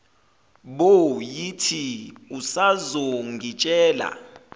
bo yithi usazongitshela